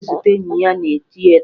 Obi ga-aga zute enyi ya na tieta